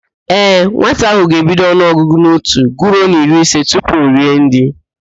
Ee, nwata ahụ ga-ebido ọnụọgụgụ n'otu guruo n'iri ise tupu o rie nri.